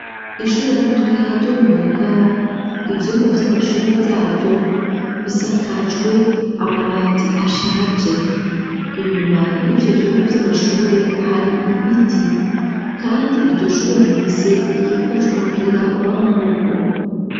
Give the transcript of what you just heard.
Ishure ritoya ryo mu Ngagara, ivyumba vy'amashure vyaryo bisakajwe amabati ashaje, inyuma yivyo vyumba vy'amashure hari ibiti, kandi iryo shure rifise ikibuga c'umupira w'amaboko.